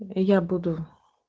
я буду